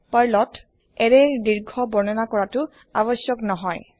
পাৰ্লত এৰেৰ দীৰ্ঘ বৰ্ননা কৰাতো আবস্যক নহয়